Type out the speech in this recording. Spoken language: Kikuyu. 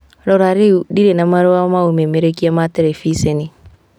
Rora rĩu, ndirĩ na marũa ma ũmemerekia ma terebiceni